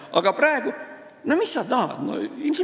Aga praegu – no mis sa tahad?!